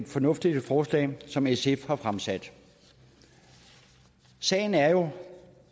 fornuftigt forslag som sf har fremsat sagen er jo